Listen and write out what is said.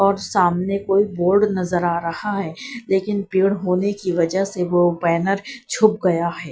और सामने कोई बोड नजर आ रहा है लेकिन पेड़ होने की वजह से वो बैनर छुप गया है।